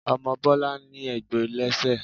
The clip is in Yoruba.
Omo Bọlá ní egbò lẹ́ṣẹ̀